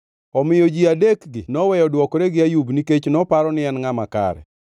Omiyo ji adekgi noweyo dwokore gi Ayub, nikech noparo ni en ngʼama kare.